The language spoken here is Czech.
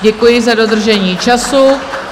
Děkuji za dodržení času.